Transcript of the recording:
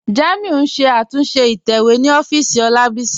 Jàmíù n ṣẹ̀ àtúnṣe ìtẹ̀wẹ̀ ni òfìísì Olábísí.